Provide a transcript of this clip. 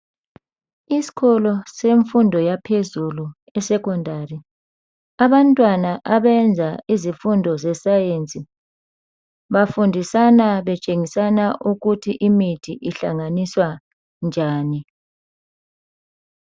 Isikolo semfundo yaphezulu isekhondari abantwana abenza izifundo zesayensi bafundisana betshengisana ukuthi imithi ihlanganiswa njani.